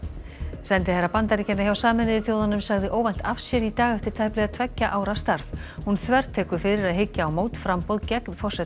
sendiherra Bandaríkjanna hjá Sameinuðu þjóðunum sagði óvænt af sér í dag eftir tæplega tveggja ára starf hún þvertekur fyrir að hyggja á mótframboð gegn forseta